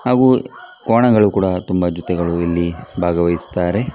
ಹಾಗು ಕೋಣಗಳು ಕೂಡ ತುಂಬಾ ಜೊತೆಗಳು ಇಲ್ಲಿ ಭಾಗವಹಿಸುತ್ತಾರೆ .